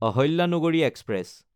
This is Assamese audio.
আহিল্যানগৰী এক্সপ্ৰেছ